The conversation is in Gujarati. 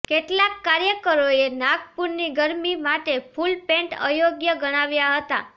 કેટલાક કાર્યકરોએ નાગપુરની ગરમી માટે ફુલપેન્ટ અયોગ્ય ગણાવ્યાં હતાં